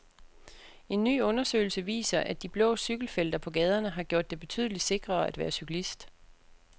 En ny undersøgelse viser, at de blå cykelfelter på gaderne har gjort det betydeligt sikrere at være cyklist.